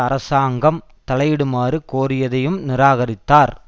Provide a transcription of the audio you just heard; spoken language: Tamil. அரசாங்கம் தலையிடுமாறு கோரியதையும் நிராகரித்தார்